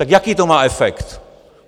Tak jaký to má efekt?